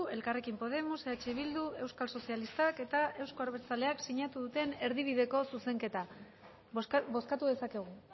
elkarrekin podemos eh bildu euskal sozialistak eta euzko abertzaleak sinatu duten erdibideko zuzenketa bozkatu dezakegu